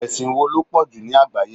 Ẹ̀sìn wo ló pọ̀jù ní àgbáyé?